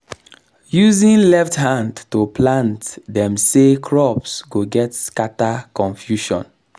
using left hand to plant dem say crops go get scatter confusion